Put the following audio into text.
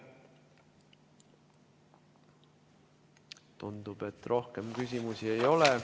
Tundub, et rohkem küsimusi ei ole.